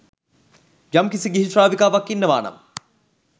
යම් කිසි ගිහි ශ්‍රාවිකාවක් ඉන්නවා නම්